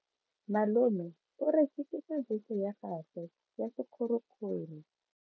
Malome o rekisitse bese ya gagwe ya sekgorokgoro.